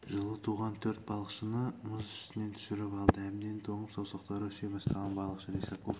жылы туған төрт балықшыны мұз үстінен түсіріп алды әбден тоңып саусақтары үсе бастаған балықшы лисаков